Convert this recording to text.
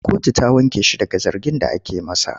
Kotu ta wanke shi daga zargin da ake masa.